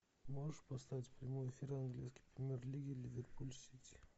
можешь поставить прямой эфир английской премьер лиги ливерпуль сити